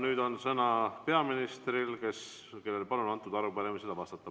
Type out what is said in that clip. Nüüd on sõna peaministril, kellel palun antud arupärimisele vastata.